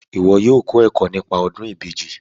Iwọ yóò kọ ẹkọ nípa ọdun ìbejì